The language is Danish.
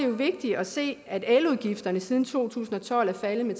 jo vigtigt at se at eludgifterne siden to tusind og tolv er faldet med